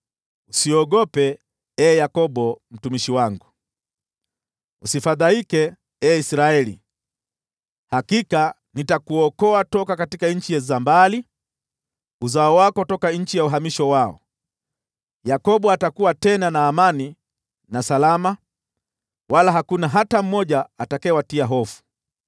“Usiogope, ee Yakobo mtumishi wangu, usifadhaike, ee Israeli. Hakika nitakuokoa kutoka nchi za mbali, uzao wako kutoka nchi ya uhamisho wao. Yakobo atakuwa tena na amani na salama, wala hakuna hata mmoja atakayewatia hofu.